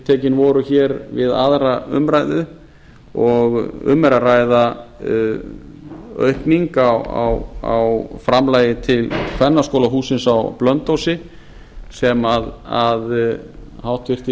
tiltekin voru við aðra umræðu og um er að ræða aukningu á framlagi til kvennaskólahússins á blönduósi sem háttvirtir